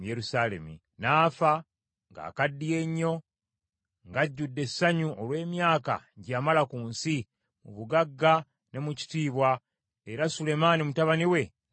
N’afa ng’akaddiye nnyo, ng’ajjudde essanyu olw’emyaka gye yamala ku nsi, mu bugagga ne mu kitiibwa, era Sulemaani mutabani we n’amusikira.